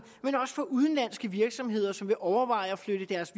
for de udenlandske virksomheder som overvejer at flytte deres